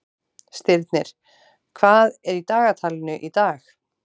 Stirnir, hvað er í dagatalinu í dag?